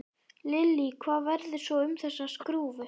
Lillý: Hvað verður svo um þessa skrúfu?